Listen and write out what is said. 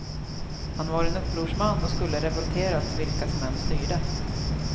Han var en upprorsman och skulle revolterat vilka som än styrde.